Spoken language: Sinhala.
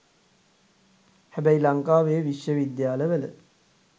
හැබැයි ලංකාවේ විශ්ව විද්‍යාලවල